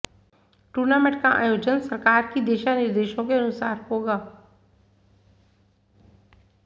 tournament का आयोजन सरकार की दिशानिदेशरें के अनुसार होगा